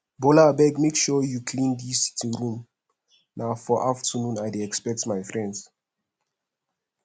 bola abeg make sure you clean dis sitting room na for afternoon i dey expect my friends